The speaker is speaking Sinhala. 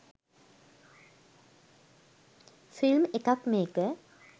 ෆිල්ම් එකක් මේක.